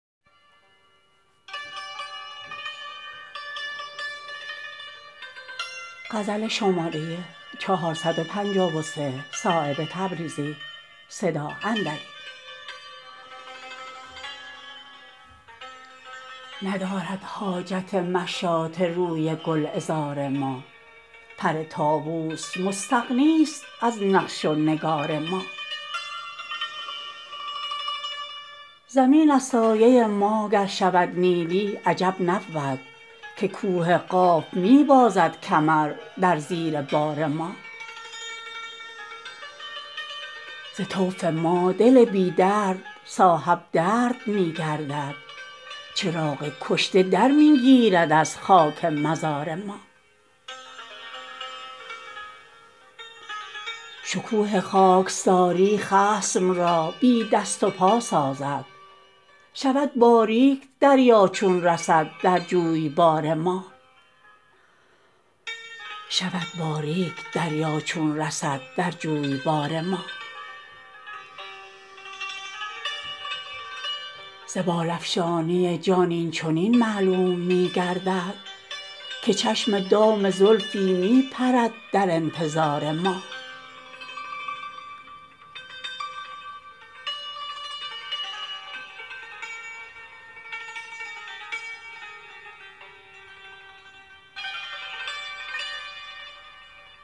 ندارد حاجت مشاطه روی گلعذار ما پر طاوس مستغنی است از نقش و نگار ما زمین از سایه ما گر شود نیلی عجب نبود که کوه قاف می بازد کمر در زیر بار ما ز طوف ما دل بی درد صاحب درد می گردد چراغ کشته در می گیرد از خاک مزار ما شکوه خاکساری خصم را بی دست و پا سازد شود باریک دریا چون رسد در جویبار ما ز بال افشانی جان این چنین معلوم می گردد که چشم دام زلفی می پرد در انتظار ما